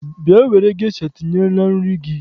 Bịa were gesha tinye na nri gị!